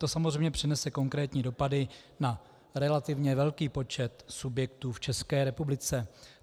To samozřejmě přinese konkrétní dopady na relativně velký počet subjektů v České republice.